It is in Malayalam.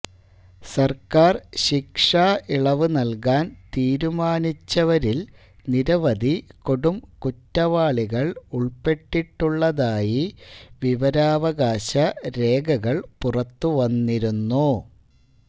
സർക്കാർ ശിക്ഷാ ഇളവ് നൽകാൻ തീരുമാനിച്ചവരിൽ നിരവധി കൊടുംകുറ്റവാളികൾ ഉൾപ്പെട്ടിട്ടുളളതായി വിവരാവകാശ രേഖകൾ പുറത്തുവന്നിരുന്നു